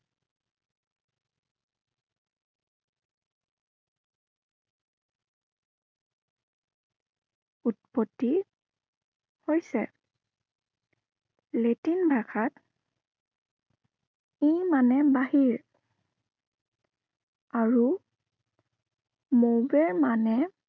উৎপত্তি হৈছে। লেটিন ভাষাত ই মানে বাহিৰ আৰু move মানে